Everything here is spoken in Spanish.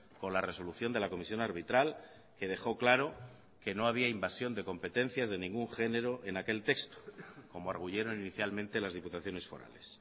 con la resolución de la comisión arbitral que dejó claro que no había invasión de competencias de ningún género en aquel texto como arguyeron inicialmente las diputaciones forales